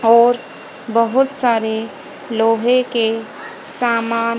और बहोत सारे लोहे के सामान--